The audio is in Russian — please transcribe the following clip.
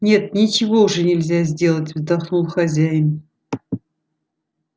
нет ничего уже нельзя сделать вздохнул хозяин